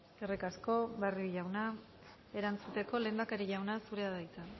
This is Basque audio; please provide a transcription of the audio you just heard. eskerrik asko barrio jauna erantzuteko lehendakari jauna zurea da hitza